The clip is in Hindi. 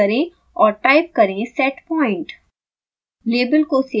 इसे डिलीट करें और टाइप करें setpoint